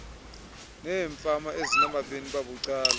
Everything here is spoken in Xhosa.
neefama ezinabanini babucala